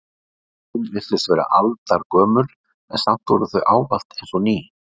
Fötin virtust vera aldargömul en samt voru þau ávallt eins og ný.